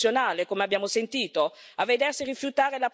a subire il razzismo istituzionale, come abbiamo sentito